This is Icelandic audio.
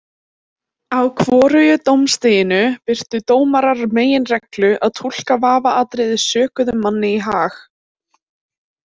Á hvorugu dómstiginu virtu dómarar meginreglu að túlka vafaatriði sökuðum manni í hag.